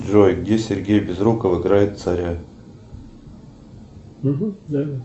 джой где сергей безруков играет царя